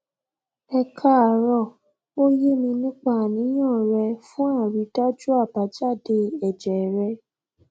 ẹ káàárọ o ye mi nípa aniyan re fun àrídájú abájáde èjè rẹ